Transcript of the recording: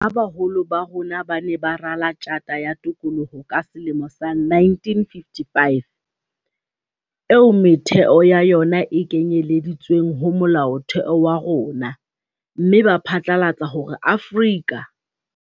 Ha baholo ba rona ba ne ba rala Tjhata ya Tokoloho ka selemo sa 1955, eo metheo ya yona e kenyeleditsweng ho Molaotheo wa rona, mme ba phatlalatsa hore Afrika.